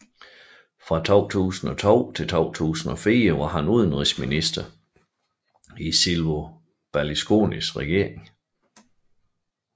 Fra 2002 til 2004 var han udenrigsminister i Silvio Berlusconis regering